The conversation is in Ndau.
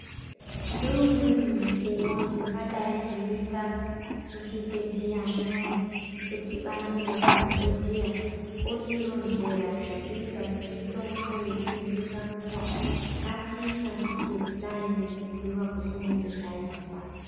Ngeumweni mukuwo tingadai teienda muzvibhehleya muyani Todhibana nemadhokodheya otironzera zvekuita nemitombo yetinenge tapuwa. Ngatiishandise kudai nekubhuyiiwa kwezvinenge zvaizwa.